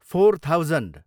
four thousand